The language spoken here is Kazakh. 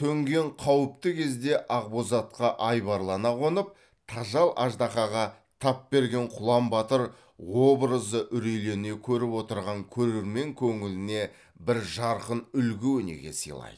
төнген қауіпті кезде ақбозатқа айбарлана қонып тажал аждаһаға тап берген құлан батыр образы үрейлене көріп отырған көрермен көңіліне бір жарқын үлгі өнеге сыйлайды